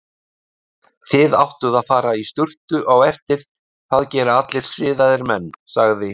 Þið áttuð að fara í sturtu á eftir, það gera allir siðaðir menn, sagði